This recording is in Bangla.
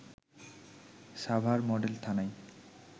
সাভার মডেল থানায়